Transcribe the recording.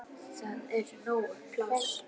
Það er nóg pláss.